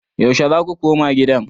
Yaushe za ku koma gidan?